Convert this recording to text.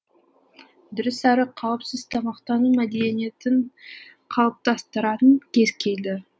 дұрыс әрі қауіпсіз тамақтану мәдениетін қалыптастыратын кез келді